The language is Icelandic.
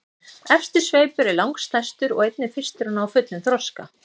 Efsti sveipur er langstærstur og einnig fyrstur að ná fullum þroska.